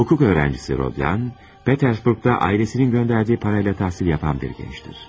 Hüquq tələbəsi Rodion, Peterburqda ailəsinin göndərdiyi pulla təhsil alan bir gəncdir.